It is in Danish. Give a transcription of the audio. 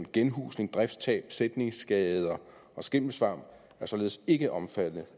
genhusning drifttab sætningsskader og skimmelsvamp er således ikke omfattet